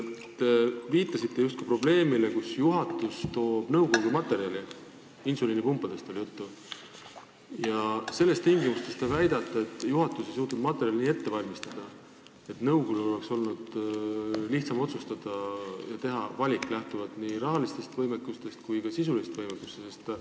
Te viitasite justkui probleemile, et juhatus esitas nõukogule materjali – insuliinipumpadest oli juttu –, aga ei suutnud materjali nii ette valmistada, et nõukogul oleks olnud lihtsam otsustada ja teha valik, lähtuvalt nii rahalisest kui ka sisulisest võimekusest?